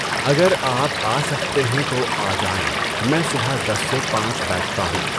اگر آپ آ سکتے ہیں تو آ جائیں، میں صبح دس سے پانچ بیٹھتا ہوں۔